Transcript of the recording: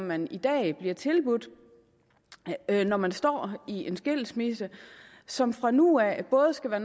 man i dag bliver tilbudt når man står i en skilsmisse og som fra nu af både skal være